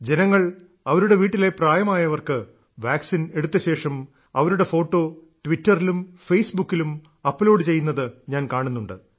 ജനങ്ങൾ അവരുടെ വീട്ടിലെ പ്രായമായവർക്ക് വാക്സിൻ എടുത്തശേഷം അവരുടെ ഫോട്ടോ ട്വിറ്ററിലും ഫേസ്ബുക്കിലും അപ്ലോഡ് ചെയ്യുന്നത് ഞാൻ കാണുന്നുണ്ട്